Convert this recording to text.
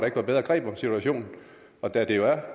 ikke var bedre greb om situationen og da det jo er